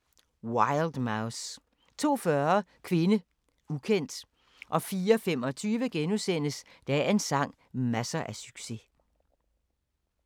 01:00: Wild Mouse 02:40: Kvinde, ukendt 04:25: Dagens sang: Masser af succes *